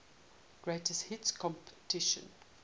greatest hits compilation